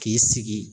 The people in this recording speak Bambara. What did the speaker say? K'i sigi